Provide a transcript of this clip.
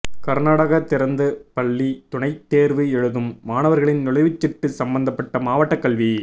கர்நாடக திறந்தப் பள்ளி துணைத் தேர்வு எழுதும் மாணவர்களின் நுழைவுச் சீட்டு சம்பந்தப்பட்ட மாவட்டக் கல்வி